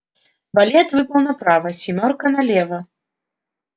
валет выпал направо семёрка налево